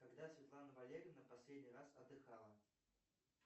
когда светлана валерьевна последний раз отдыхала